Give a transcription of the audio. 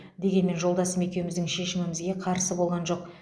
дегенмен жолдасым екеуміздің шешімімізге қарсы болған жоқ